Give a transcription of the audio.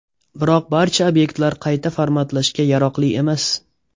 Biroq barcha obyektlar qayta formatlashga yaroqli emas.